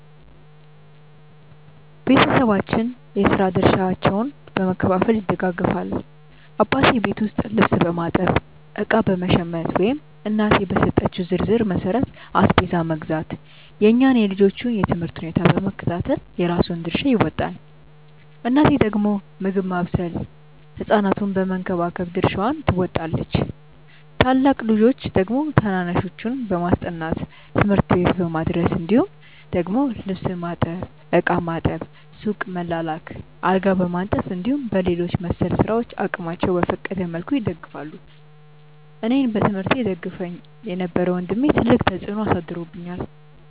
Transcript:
ቤተሰባችን የስራ ድርሻዎችን በመከፋፈል ይደጋገፋል። አባቴ ቤት ውስጥ ልብስ በማጠብ፣ እቃ በመሸመት ወይም እናቴ በሰጠችው ዝርዝር መሠረት አስቤዛ መግዛት፣ የእኛን የልጆቹን የ ትምህርት ሁኔታ በመከታተል የራሱን ድርሻ ይወጣል። እናቴ ደግሞ ምግብ ማብሰል ህ ሕፃናቱን በመንከባከብ ድርሻዋን ትወጣለች። ታላቅ ልጆች ደግሞ ታናናሾችን በማስጠናት፣ ትምህርት ቤት በማድረስ እንዲሁም ደግሞ ልብስ ማጠብ፣ ዕቃ ማጠብ፣ ሱቅ መላላክ፣ አልጋ በማንጠፍ እንዲሁም በሌሎች መሰል ስራዎች አቅማቸው በፈቀደ መልኩ ይደግፋሉ። አኔን በትምህርቴ ይደግፈኝ የነበረው ወንድሜ ትልቅ ተፅዕኖ አሳድሮብኛል።